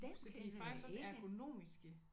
Så de er faktisk også ergonomiske